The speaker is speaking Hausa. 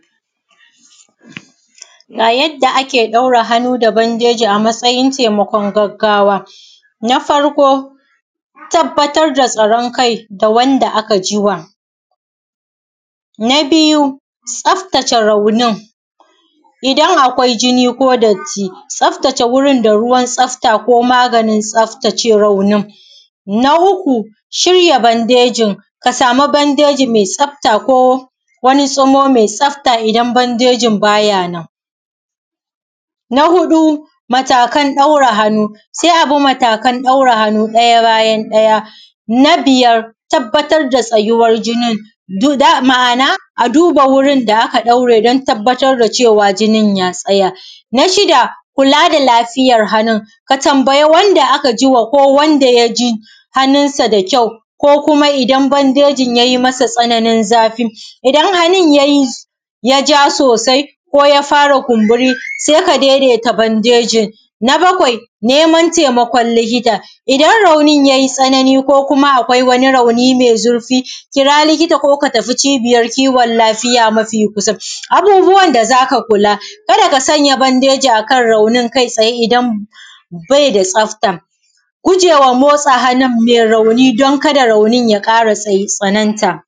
Ga yadda ake ɗaura hannu da bandeji a matsayin taimakon gaggawa. Na farko tabbatar da tsaron kai da wanda aka ji wa. Na biyu tsaftace raunin, idan akwai jini ko datti tsaftace wurin da ruwan tsafta ko maganin tsaftace raunin. Na uku shirya bandejin, ka samu bandeji mai tsafta ko tsumo mai tsafta idan bandejin baya nan. Na huɗu matakan ɗaura hannu, sai a bi matakan ɗaura hannu ɗaya bayan ɗaya. Na biyar tabbatar da tsayuwar jinin, ma’ana a duba da aka ɗaure don tabbatar da cewa jinin ya tsaya. Na shida kulaa da lafiyar hannun, ka tambayi wanda aka jiwa ko wanda ya ji hannunsa da kyau ko kuma idan bandejin yayi masa tsananin zafi, idan hannun ya ja soosai ko ya fara kumburi, sai ya daidaita bandejin. Na bakwai neman taimakon likita, idan raunin yayi tsanani ko kuma akwai wani rauni mai zurfii kira likita ko ka tafi cibiyar kiwon lafiya mafi kusa. Abubuwan da za ka kulaa kada ka sanya bandeji akan raunin kai tsaye idan bai da tsafta. gujewa motsa hannun mai rauni don kada raunin ya ƙara tsananta.